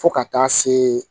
Fo ka taa se